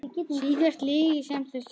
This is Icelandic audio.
Síðasta lygi sem þú sagðir?